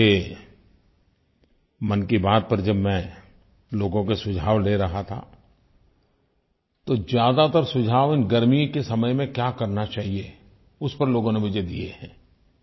और मुझे मन की बात पर जब मैं लोगों के सुझाव ले रहा था तो ज़्यादातर सुझाव इन गर्मी के समय में क्या करना चाहिये उस पर लोगों ने मुझे दिये हैं